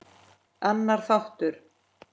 Annar þáttur.